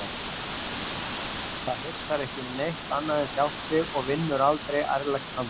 Það hugsar ekki um neitt annað en sjálft sig og vinnur aldrei ærlegt handtak.